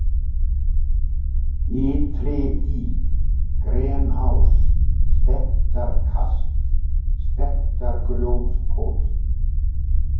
Ytridý, Grenás, Stekkjarkast, Stekkjargrjóthóll